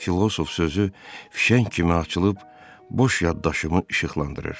Filosof sözü fişəng kimi açılıb boş yaddaşımı işıqlandırır.